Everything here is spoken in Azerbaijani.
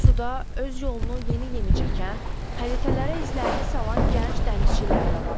Bu suda öz yolunu yeni-yeni çəkən, xəritələrə izlərini salan gənc dənizçilər də var.